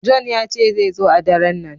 John ya ce zai zo a ɗaren nan.